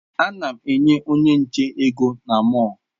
Ana m enye onye nche ego na mọll.